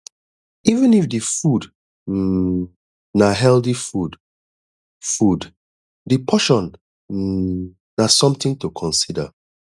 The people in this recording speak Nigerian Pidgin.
even if di food um na healthy food food di portion um na something to consider